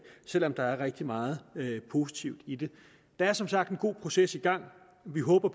selv om der er rigtig meget positivt i det der er som sagt en god proces i gang og vi håber